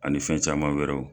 Ani fɛn caman wɛrɛw.